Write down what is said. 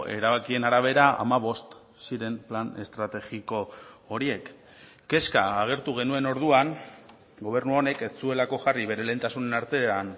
erabakien arabera hamabost ziren plan estrategiko horiek kezka agertu genuen orduan gobernu honek ez zuelako jarri bere lehentasunen artean